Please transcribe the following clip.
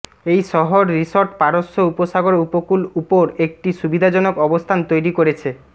এই শহর রিসোর্ট পারস্য উপসাগর উপকূল উপর একটি সুবিধাজনক অবস্থান তৈরি করেছে